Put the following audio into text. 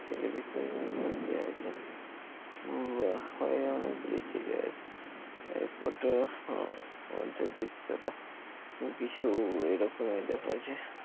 ছেলে বিতরনের মধ্যে আছেন হুম অ হয় অনেকগুলি ছেলে আছে এক ওট হ মধ্যে দৃশ্যটা কিছু এরকমই দেখাচ্ছে।